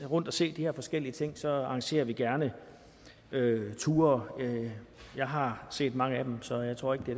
rundt at se de her forskellige ting så arrangerer vi gerne ture jeg har set mange af dem så jeg tror ikke det